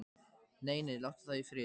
Nei, nei, látum þau í friði.